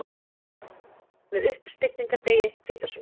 Með uppstigningardegi, hvítasunnu.